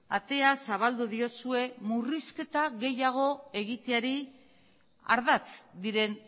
atea zabaldu diozue murrizketa gehiago egiteari ardatz diren